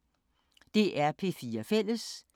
DR P4 Fælles